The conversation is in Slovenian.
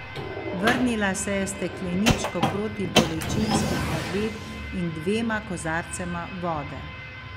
Vrnila se je s stekleničko protibolečinskih tablet in dvema kozarcema vode.